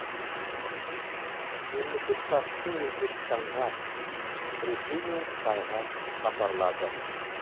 мемлекет басшысы өзбекстанға ресей мен қытайға сапарлады